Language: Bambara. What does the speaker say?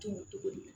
Tumu cogo di